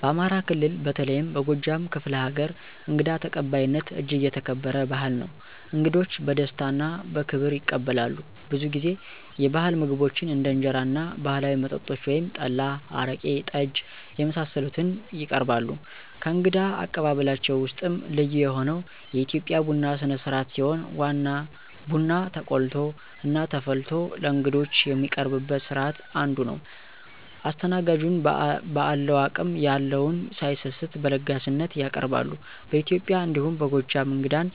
በአማራ ክልል በተለይም በጎጃም ክፍለ ሀገር እንግዳ ተቀባይነት እጅግ የተከበረ ባህል ነው። እንግዶች በደስታ እና በክብር ይቀበላሉ፣ ብዙ ጊዜ የባህል ምግቦችን እንደ እንጀራ እና ባህላዊ መጠጦች (ጠላ፣ አረቄ፣ ጠጅ) የመሳሰሉትን ይቀርባሉ። ከእንግዳ አቀባበላቸው ውስጥም ልዩ የሆነው የኢትዮጵያ ቡና ስነስርአት ሲሆን ቡና ተቆልቶ እና ተፈልቶ ለእንግዶች የሚቀርብበት ስርአት አንዱ ነው። አስተናጋጁን በአለው አቅም የለውን ሳይሰስት በለጋስነት ያቀርባሉ። በኢትዬጵያ እንዲሁም በጎጃም እንግዳን